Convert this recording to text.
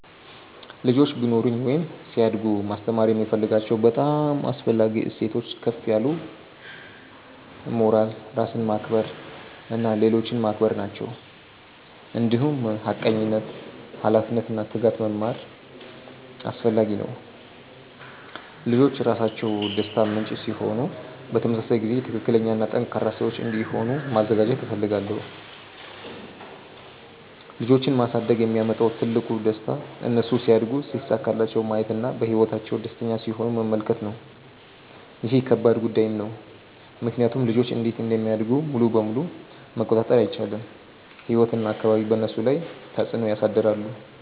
ልጆች ቢኖሩኝ ወይም ሲያድጉ ማስተማር የምፈልጋቸው በጣም አስፈላጊ እሴቶች ከፍ ያለ ሞራል፣ ራስን ማክበር እና ሌሎችን ማክበር ናቸው። እንዲሁም ሐቀኝነት፣ ኃላፊነት እና ትጋት መማር አስፈላጊ ነው። ልጆች ራሳቸው ደስታ ምንጭ ሲሆኑ በተመሳሳይ ጊዜ ትክክለኛ እና ጠንካራ ሰዎች እንዲሆኑ ማዘጋጀት እፈልጋለሁ። ልጆች ማሳደግ የሚያመጣው ትልቁ ደስታ እነሱ ሲያድጉ ሲሳካላቸው ማየት እና በህይወታቸው ደስተኛ ሲሆኑ መመልከት ነው። ይህ ከባድ ጉዳይም ነው ምክንያቱም ልጆች እንዴት እንደሚያድጉ ሙሉ በሙሉ መቆጣጠር አይቻልም፤ ህይወት እና አካባቢ በእነሱ ላይ ተፅዕኖ ያሳድራሉ።